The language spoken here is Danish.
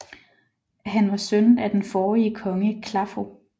Han var søn af den forrige konge Claffo